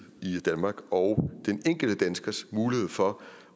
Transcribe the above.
i danmark og den enkelte danskers mulighed for